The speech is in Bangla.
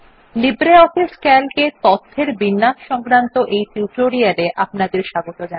লিব্রিঅফিস সিএএলসি এ তথ্যের বিন্যাস সংক্রান্ত এই টিউটোরিয়াল এ আপনাদের স্বাগত